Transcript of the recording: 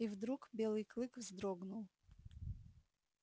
и вдруг белый клык вздрогнул